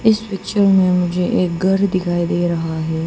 इस पिक्चर में मुझे एक घर दिखाई दे रहा है।